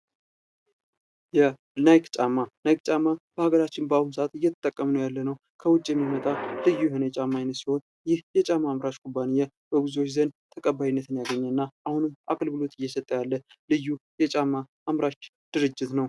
የናይክ ጫማ ናይክ ጫማ በሀገራችን በአሁን ሰዓት እየተጠቀምነው ያለነው ከዉጭ የሚመጣ ልዩ የሆነ የጫማ አይነት ሲሆን ይህ የጫማ አምራች ኩባንያ በብዙዎች ዘንድ ተቀባይነት ያገኘ እና አሁንም አገልግሎት እየሰጠ ያቄ ቅዩ የጫማ አምራች ድርጅት ነው::